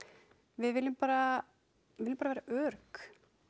við viljum bara viljum bara vera örugg